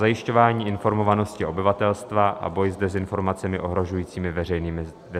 zajišťování informovanosti obyvatelstva a boj s dezinformacemi ohrožujícími veřejné zdraví."